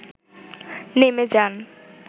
নেমে যান